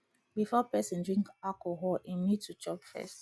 before person drink alcohol im need to chop first